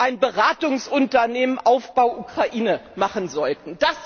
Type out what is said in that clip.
ein Beratungsunternehmen Aufbau Ukraine machen sollten.